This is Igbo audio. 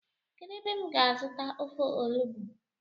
Kedu ebe m ga azuta ofe onugbu?